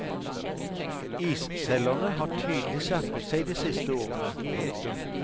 Isselgerne har tydelig skjerpet seg de siste årene. punktum